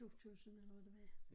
2000 eller hvad det var